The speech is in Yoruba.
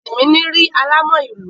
Tìmíní rí alámọ̀ ìlú.